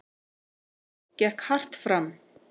Gekk hart fram.